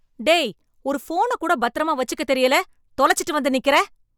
டேய் ! ஒரு ஃபோன கூட பத்திரமா வச்சுக்கத் தெரியல, தொலச்சிட்டு வந்து நிக்கிற.